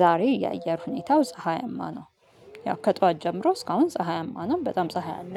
ዛሬ የአየር ሁኔታው ፀሀያማ ነው። ያው ከጠዋት ጀምሮ እስካሁን ፀሀያማ ነው በጣም ፀሀይ አለ